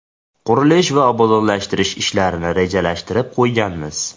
Qurilish va obodonlashtirish ishlarini rejalashtirib qo‘yganmiz.